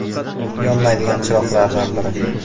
Yonmaydigan chiroqlardan biri.